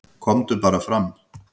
"""KOMDU BARA FRAM,"""